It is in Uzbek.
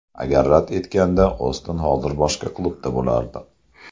Agar rad etganda Oston hozir boshqa klubda bo‘lardi.